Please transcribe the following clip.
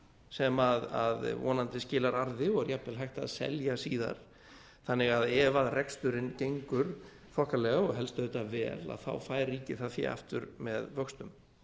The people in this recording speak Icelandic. sem vonandi skilar arði og er jafnvel hægt að selja síðar þannig að ef reksturinn gengur þokkalega og helst auðvitað vel fær ríkið það fé aftur með vöxtum